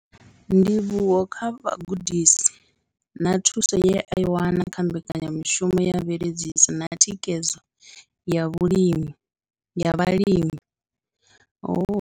Ndivhuwo kha vhugudisi na thuso ye a i wana kha mbekanyamushumo ya mveledziso na thikhedzo ya vhulimi ya vhalimi.